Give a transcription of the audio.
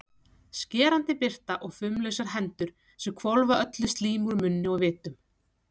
Skerandi birta og fumlausar hendur sem hvolfa öllu slími úr munni og vitum.